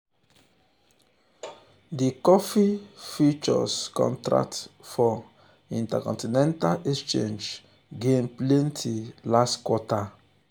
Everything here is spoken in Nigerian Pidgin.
di coffee futures contract for intercontinental exchange exchange gain plenty last quarter.